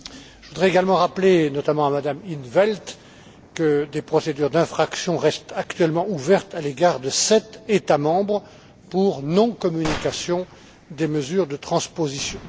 Je voudrais également rappeler à Mme in t Velt que des procédures d'infraction restent actuellement ouvertes à l'égard de sept États membres pour non communication des mesures de transposition.